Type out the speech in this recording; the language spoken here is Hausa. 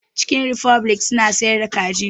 Cikin rifoblik suna siyar da kaji